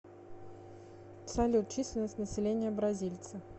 салют численность населения бразильцы